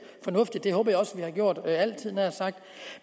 fornuftigt og det håber jeg også vi har gjort altid nær sagt